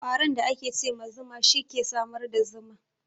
Ƙwaron da ake ce ma zuma, shi ke samar da zuma.